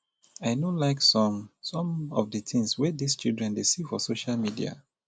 i no like some some of the things wey dis children dey see for social media